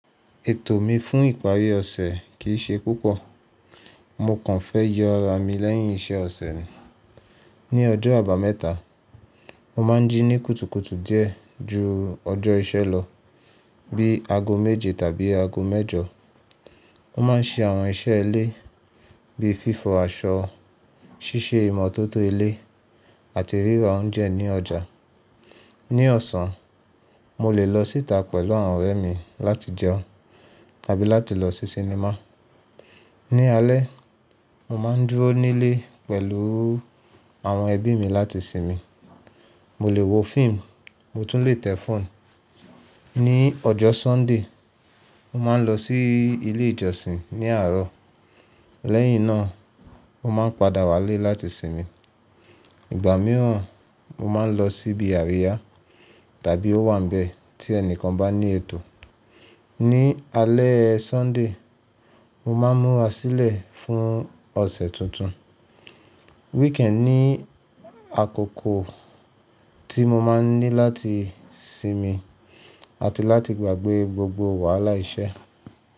Ètò mi fún ìparí ọ̀sẹ̀ kì í ṣe púpọ̀. Mo kàn fẹ́ yọ ara mi lẹ́yìn iṣẹ́ ọ̀sẹ̀. Ní ọjọ́ àbámẹ́ta, mo máa ń jí ní kùtùkùtù díẹ̀ ju ọjọ́ iṣẹ́ lọ bí i aago méje tàbí aago mẹ́jọ. Mo ma ń ṣe àwọn iṣẹ́ ilé bí i fífọ àṣọ, ṣíṣe ìmọ̀tótó ilé àti ríra óúnjẹ ní ọjà. Ní ọ̀sán, mo lè lọ síta pẹ̀lú àwọn ọ̀rẹ́ mi láti jẹun tàbí láti lọ sí sinimá. Ní alẹ́, mo máa ń dúró nílé pẹ̀lú àwọn ẹbí mi láti sinmi. Mo lè wo fíìmù, mo tún lè tẹ̀ fóònù. Ní ọjọ́ Sọ́ńdè, mo máa ń lọ sí ilé ìjọsìn ní àárọ̀. Lẹ́yìn náà, mo máa ń padà wá lé láti sinmi. Ìgbà mìíràn, mo máa ń lọ síbi àríyá tàbí ówànbẹ̀ tí ẹni kan bá ní ètò. Ní alẹ́ Sọ́ńdè, mo máa ń múra sílẹ̀ fún ọ̀sẹ̀ tuntun. Wíkẹ́nì ni àkókò tí mo máa ń ní láti sinmi àti láti gbàgbé gbogbo wàhálà iṣẹ́.